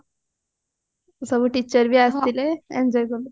ସବୁ teacher ବି ଆସିଥିଲେ enjoy କଲୁ